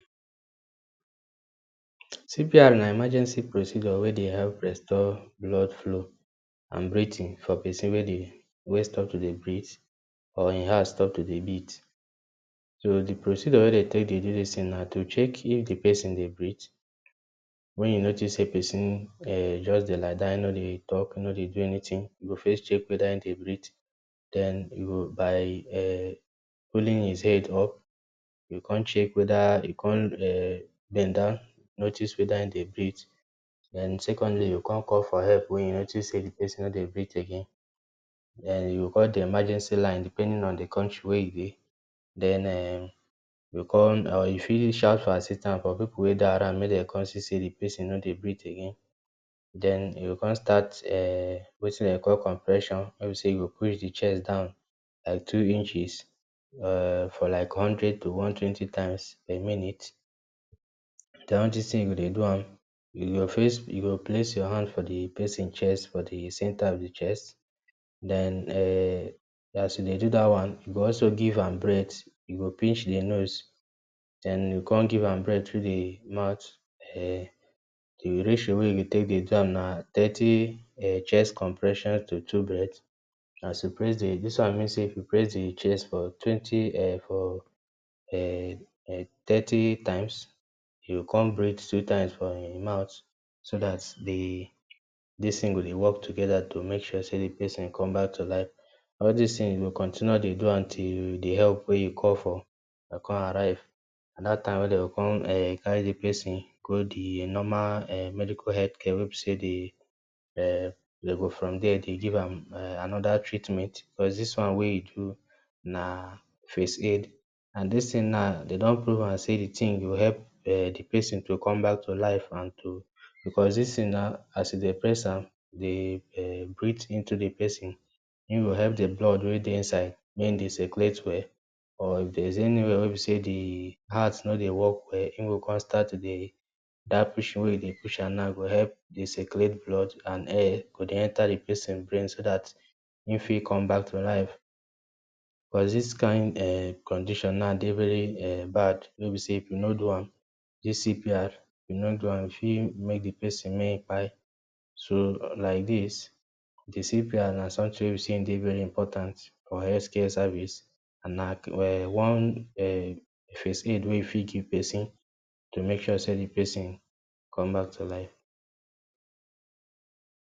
CPR na emergency procedure wey dey help restore blood flow and breathing for person wey dey, wey stop to dey breath, or e heart stop to dey beat. So, di procedure wey den take dey do dis tin na to check if di person dey breath. When you notice sey person um just dey lie down, e nor dey talk, e nor dey do anytin, you go first check weda he dey breath, den you go by um pulling his head up you go kon check weda he kon um den don notice weda im dey breath, den secondly, you go kon call for help wen you notice sey di person nor dey breath again. Den, you go call di emergency line depending on di country wey you dey. Den, um you go kon or you fit reach out for assistant for pipu wey dey around, mey den kon see sey di person nor dey breath again. Den, you go kon start um wetin den dey call compression, wey be sey you go push di chest down like two inches um for like hundred to one twenty times a minute. Den, all dis tin you go dey do am, you go first, you go place your hand for di person chest, for di centre of di chest, den um as you dey do dat one, you go also give am breath, you go pinch di nose, den you go kon give am breath through di mouth air. Di ratio wey you go take dey do am na thirty um chest compression to two breath. As you press di, dis one means sey if you press di chest for twenty um for um um thirty times, you go kon breath two times for im mouth. So dat di dis tin go dey work together, to make sure sey di person come back to life. All dis tin you go continue am dey do am till di help wey you call for kon arrive and dat time wey den go kon um carry di person go di normal um medical health care wey be sey di um den go from dier dey give am um anoda treatment plus dis one wey you do na first aid and dis tin na, den don prove am sey di tin go help um di person to come back to life and to because dis tin now, as e dey press am, dey um breath into di person, e go help di blood mey dey inside mey e dey circulate well, or if there’s anyway wey be sey di heart nor dey work well, e go kon start to dey, dat pushing wey den dey push am na, e go help dey circulate blood and air go dey enter di person brain so dat e fit come back to life. Cos dis kin um condition now dey very um bad wey be sey if you nor do am, dis CPR, if you nor do am e fit make di person may im kpai. So, like dis di CPR na sometin wey be sey e dey very important or health care service na um one um first aid wey you fit give person to make sure sey di person come back to life.